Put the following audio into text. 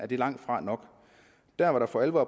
det langtfra nok der hvor der for alvor